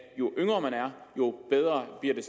jo yngre man er jo bedre bliver